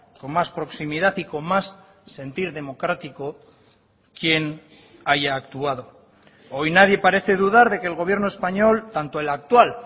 con más proximidad y con más sentir democrático quien haya actuado hoy nadie parece dudar de que el gobierno español tanto el actual